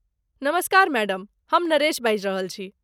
नमस्कार मैडम। हम नरेश बाजि रहल छी।